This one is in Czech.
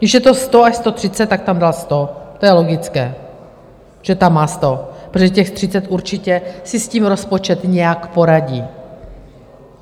Když je to 100 až 130, tak tam dal 100, to je logické, že tam má 100, protože těch 30, určitě si s tím rozpočet nějak poradí.